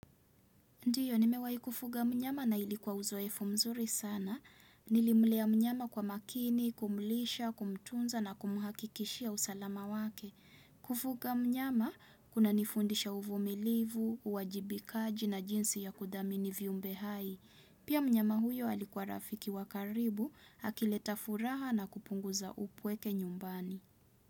Ndiyo, nimewaikufuga mnyama na ilikuwa uzoefu mzuri sana. Nilimlea mnyama kwa makini, kumulisha, kumtunza na kumuhakikishia usalama wake. Kufuga mnyama, kuna nifundisha uvumilivu, uwajibikaji na jinsi ya kudhamini viumbe hai. Pia mnyama huyo alikuwa rafiki wakaribu, hakileta furaha na kupunguza upweke nyumbani.